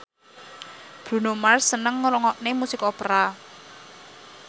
Bruno Mars seneng ngrungokne musik opera